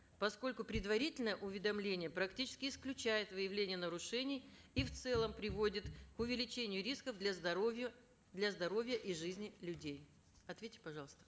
поскольку предварительное уведомление практически исключает выявление нарушений и в целом приводит к увеличению рисков для здоровья для здоровья и жизни людей ответьте пожалуйста